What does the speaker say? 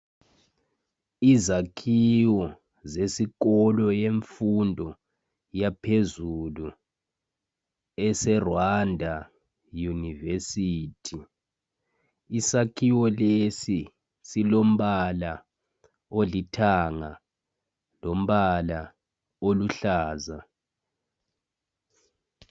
Izakhiwo zesikolo yemfundo yaphezulu eseRwanda Yunivesithi. Isakhiwo lesi silompala olithanga lompala oluhlaza.